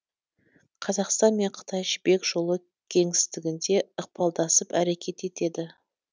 қазақстан мен қытай жібек жолы кеңістігінде ықпалдасып әрекет етеді